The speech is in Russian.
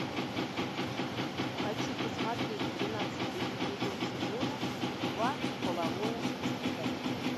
хочу посмотреть двенадцатый эпизод сезона два половое воспитание